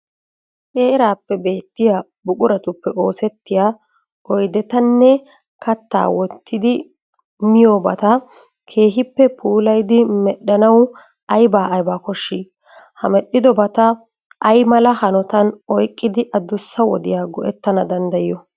Heeraappe beettiya buquratuppe oosettiya oydetanne kattaa wottidi miyobata keehippe puulayidi medhdhanawu aybaa aybaa koshshii? Ha medhdhidobata ay mala hanotan oyqqidi adussa wodiya go"ettana danddayiyo?